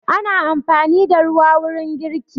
Ana amfani da ruwa wurin girki.